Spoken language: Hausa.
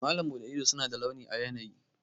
Malam Bude ido suna da launi a yanayi.